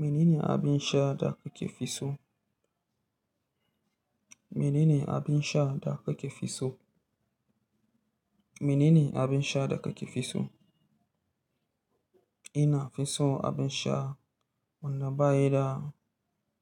Mene ne abin sha da kuke fi so? Mene ne abin sha da kake fi so? Mene ne abin sha da kake fi so? Ina fi so abin sha wanda baya da